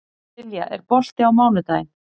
Silja, er bolti á mánudaginn?